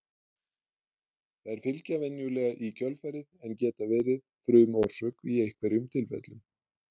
þær fylgja venjulega í kjölfarið en geta verið frumorsök í einhverjum tilfellum